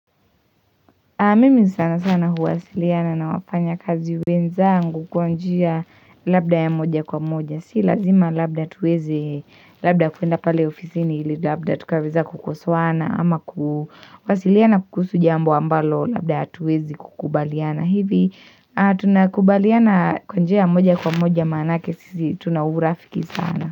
Mimi sana sana huwasiliana na wafanya kazi wenzangu kwa njia labda ya moja kwa moja. Si lazima labda tuweze labda kuenda pale ofisini ili labda tukaweza kukosoana ama kuwasiliana kuhusu jambo ambalo labda tuwezi kukubaliana hivi. Tunakubaliana kwa njia ya moja kwa moja maanake sisi tuna urafiki sana.